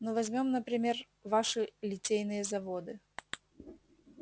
ну возьмём например ваши литейные заводы